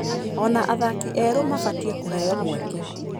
Ona athaki erũ mabatie kũheo mweke.